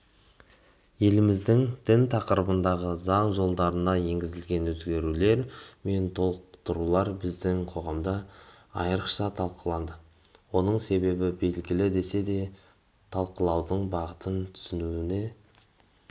еліміздің дін тақырыбындағы заң жолдарына енгізілетін өзгертулер мен толықтырулар біздің қоғамда айрықша талқыланды оның себебі белгілі десе де талқылаудың бағытын түсіне